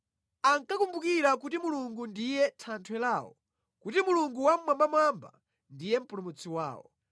Ankakumbukira kuti Mulungu ndiye Thanthwe lawo, kuti Mulungu Wammwambamwamba ndiye Mpulumutsi wawo.